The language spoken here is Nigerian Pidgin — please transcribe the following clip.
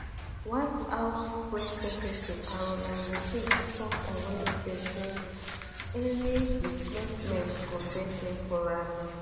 white house press secretary karoline leavitt tok on wednesday say any say any displacement go dey temporary